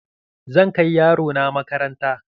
Zan kai yaro na makaranta.